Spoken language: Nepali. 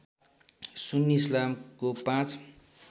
सुन्नी इस्लामको ५